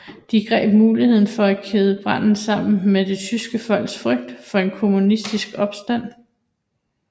De greb muligheden for at kæde branden sammen med det tyske folks frygt for en kommunistisk opstand